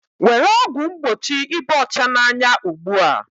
Were ọgwụ mgbochi ịba ọcha n'anya ugbu a